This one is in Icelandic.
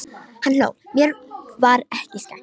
Hann hló, mér var ekki skemmt.